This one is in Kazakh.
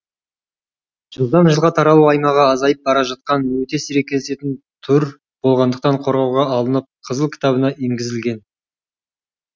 жылдан жылға таралу аймағы азайып бара жатқан өте сирек кездесетін түр болғандықтан қорғауға алынып қызыл кітабына енгізілген